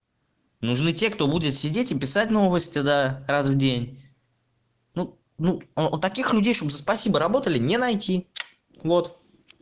нужны те кто будет сидеть и писать новости да раз в день ну ну таких людей чтобы за спасибо работали не найти вот